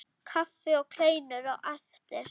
Kaffi og kleinur á eftir.